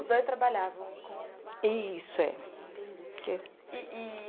Os dois trabalhavam com... Isso, é. Entendi. i-i-i